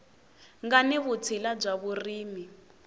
nga ni vutshila bya vurimi